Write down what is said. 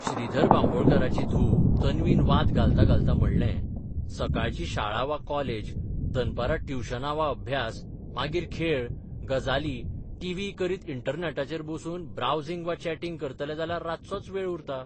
श्रीधर बांबोळकाराची धून तन्वीन बाद घालतां घालतां म्हणलेंः 'सकाळची शाळा वा कॉलेज, दनपरां ट्युशनां वा अभ्यास, मागीर खेळ, गजाली, टीव्ही करीत इंटरनॅटाचेर बसून ब्रावसिंग वा चॅटिंग करतलें जाल्यार रातचोच वेळ उरता.